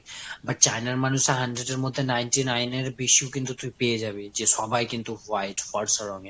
but China র মানুষরা hundred এর মধ্যে ninety nine এর বেশিও কিন্তু তুই পেয়ে যাবি। যে সবাই কিন্তু white ফর্সা রঙের।